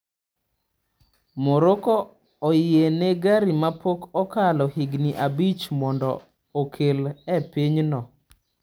Morocco oyiene gari ma pok okalo higni abich mondo okel e pinyno.